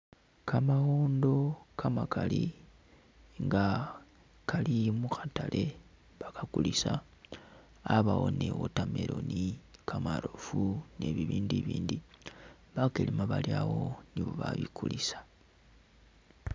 Kamawondo kamakali nga kali mukhatale bakakulisa, abawo ni watermelon ,kamarofu nibibindu bakelema bali’awo nibo babikulisa.